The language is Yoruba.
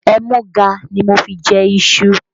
Ẹmúga ni mo fi jẹ iṣu